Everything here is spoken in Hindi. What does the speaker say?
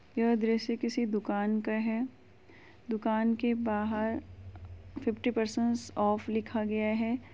यह दृश्य किसी दुकान का है। दुकान के बाहर फिफ्टी परसेंट ऑफ लिखा गया है।